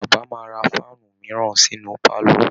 Bàbá máa ra fáànù míràn sínú pálọ̀